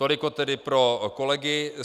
Toliko tedy pro kolegy.